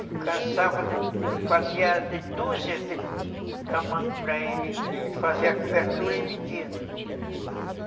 cansava de, fazia dúzias de tamanco para ele, ele fazia a cobertura e vendia, né? Uhum.